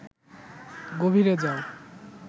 গভীরে যাও